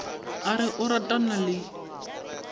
a re o ratana le